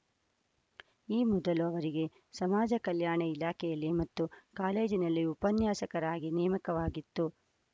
ಈ ಮೊದಲು ಅವರಿಗೆ ಸಮಾಜಕಲ್ಯಾಣ ಇಲಾಖೆಯಲ್ಲಿ ಮತ್ತು ಕಾಲೇಜಿನಲ್ಲಿ ಉಪನ್ಯಾಸಕರಾಗಿ ನೇಮಕವಾಗಿತ್ತು